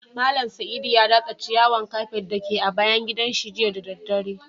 Mallam Saidu ya datsa ciyawan kafet da ke a bayan gidan shi jiya da dare.